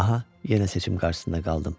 Aha, yenə seçim qarşısında qaldım.